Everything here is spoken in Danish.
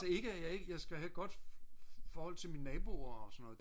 altså ikke at jeg ikke jeg skal have et godt forhold til mine naboer og sådan noget